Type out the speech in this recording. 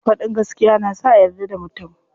Faɗin gaskiya na sa a yarda da mutum.